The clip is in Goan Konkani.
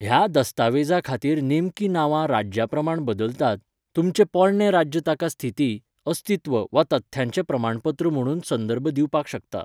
ह्या दस्तावेजा खातीर नेमकीं नांवां राज्या प्रमाण बदलतात, तुमचें पोरणे राज्य ताका स्थिती, अस्तित्व वा तथ्यांचें प्रमाणपत्र म्हणून संदर्भ दिवपाक शकता.